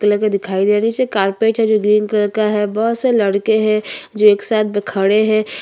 कुछ yellow black peach colour के कपड़े पहने हुए है पीछे में टेबूल है जो दिख रहा है नीचे थोड़ा छोटा सा रोड है जो कच्चा है।